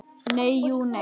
Nei, jú, nei.